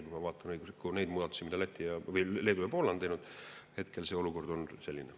Kui ma vaatan õiguslikke muudatusi, mida Leedu ja Poola on teinud, tundub hetkel see olukord aga selline.